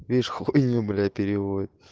видишь хуйню блять переводит